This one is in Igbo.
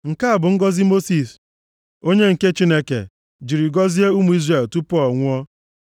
Nke a bụ ngọzị Mosis, onye nke Chineke, jiri gọzie ụmụ Izrel, tupu ọ nwụọ.